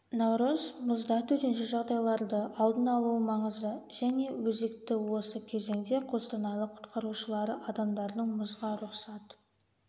наурыз мұзда төтенше жағдайларды алдын алуы маңызды және өзекті осы кезеңде қостанайлық құтқарушылары адамдардың мұзға рұқсат